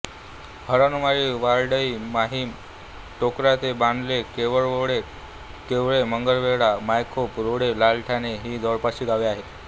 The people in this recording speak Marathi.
हरणवाळी वडराई माहीम टोकराळे बांदते केळवेरोड केळवे मांगेलवाडा मायखोप रोठे लालठाणे ही जवळपासची गावे आहेत